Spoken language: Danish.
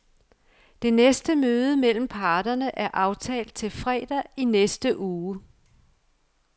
Det næste møde mellem parterne er aftalt til fredag i næste uge.